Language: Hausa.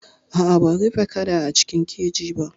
A'a ban rufe kada a cikin keji ba.